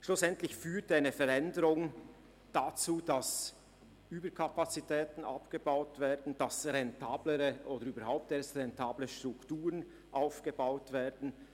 Schlussendlich führt eine Veränderung dazu, dass Überkapazitäten abgebaut und überhaupt erst rentable Strukturen aufgebaut werden.